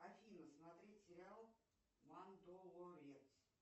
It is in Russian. афина смотреть сериал мандалорец